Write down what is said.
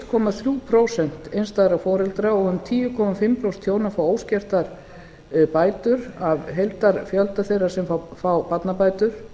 komma þrjú prósent einstæðra foreldra og um tíu komma fimm prósent hjóna fá óskertar bætur af heildarfjölda þeirra sem fá barnabætur